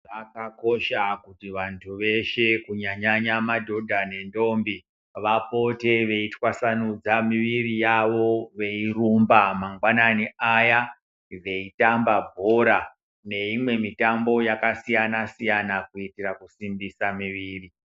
Zvakakosha kuti vantu veshe kunyanya madhodha ne ndombi vapote veyi twasanudza miviri yavo veyi rumba mangwanani aya veyi tamba bhora ne imwe mitambo yaka siyana siyana kuitira kusimbisa miviri.